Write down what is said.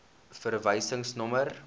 verwysingsnommer